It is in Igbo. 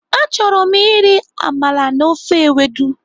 Achọrọ m iri amala na ofe ewedu.